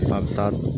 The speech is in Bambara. A bɛ taa